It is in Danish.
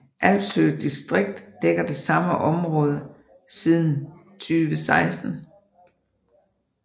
Alfshøg distrikt dækker det samme område siden 2016